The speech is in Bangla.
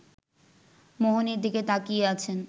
মোহনের দিকে তাকিয়ে আছেন